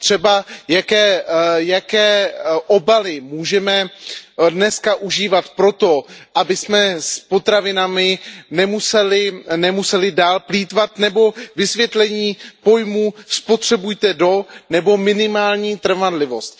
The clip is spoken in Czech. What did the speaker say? Třeba jaké obaly můžeme dnes užívat proto, abychom s potravinami nemuseli dále plýtvat, nebo vysvětlení pojmů spotřebujte do nebo minimální trvanlivost.